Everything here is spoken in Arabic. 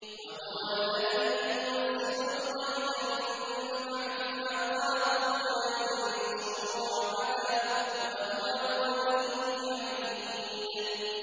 وَهُوَ الَّذِي يُنَزِّلُ الْغَيْثَ مِن بَعْدِ مَا قَنَطُوا وَيَنشُرُ رَحْمَتَهُ ۚ وَهُوَ الْوَلِيُّ الْحَمِيدُ